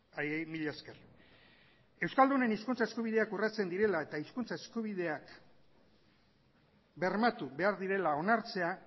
haiei mila esker euskaldunen hizkuntza eskubideak urratzen direla eta hizkuntza eskubideak bermatu behar direla onartzea